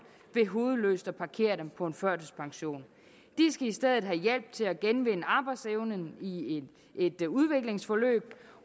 ved hovedløst at parkere dem på en førtidspension de skal i stedet have hjælp til at genvinde arbejdsevnen i i et udviklingsforløb